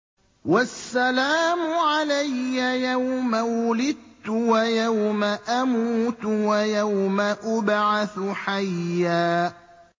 وَالسَّلَامُ عَلَيَّ يَوْمَ وُلِدتُّ وَيَوْمَ أَمُوتُ وَيَوْمَ أُبْعَثُ حَيًّا